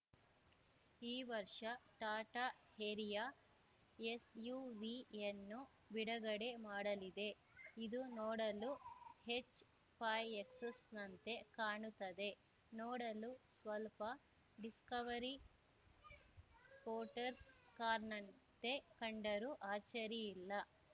ಈ ವರ್ಷ ಟಾಟಾ ಹೇರಿಯ ಎಸ್‌ಯುವಿಯನ್ನು ಬಿಡುಗಡೆ ಮಾಡಲಿದೆ ಇದು ನೋಡಲು ಹೆಚ್‌ಫಾಯ್ ಎಕ್ಸ್‌ನಂತೆ ಕಾಣುತ್ತದೆ ನೋಡಲು ಸ್ವಲ್ಪ ಡಿಸ್ಕವರಿ ಸ್ಪೋಟರ್ಸ್ ಕಾರ್‌ನಂತೆ ಕಂಡರೂ ಅಚ್ಚರಿಯಿಲ್ಲ